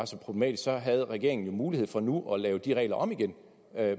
så problematisk så har regeringen mulighed for nu at lave de regler om igen